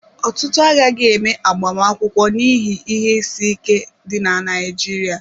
Ọtụtụ agaghị eme agbamakwụkwọ n'ihi ihe isi ike dị na Naịjirịa.